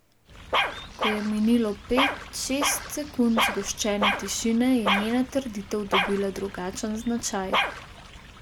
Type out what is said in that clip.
Ko je minilo pet, šest sekund zgoščene tišine, je njena trditev dobila drugačen značaj.